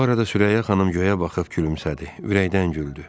Bu arada Sürəyya xanım göyə baxıb gülümsədi, ürəkdən güldü.